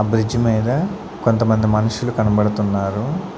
ఆ బ్రిడ్జ్ మీద కొంతమంది మనుషులు కనబడుతున్నారు.